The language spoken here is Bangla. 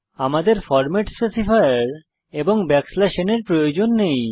আমাদের ফরম্যাট স্পেসিফায়ার এবং ন এর প্রয়োজন নেই